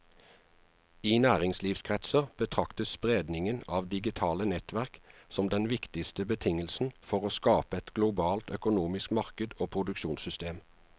I næringslivskretser betraktes spredningen av digitale nettverk som den viktigste betingelsen for å skape et globalt økonomisk marked og produksjonssystem.